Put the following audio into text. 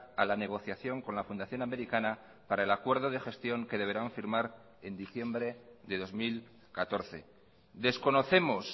a la negociación con la fundación americana para el acuerdo de gestión que deberán firmar en diciembre de dos mil catorce desconocemos